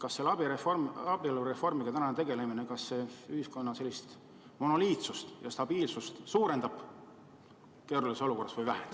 Kas täna selle abielureformiga tegelemine keerulises olukorras ühiskonna monoliitsust ja stabiilsust suurendab või vähendab?